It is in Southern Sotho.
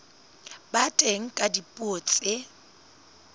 ba teng ka dipuo tse